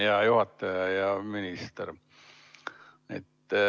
Hea juhataja ja minister!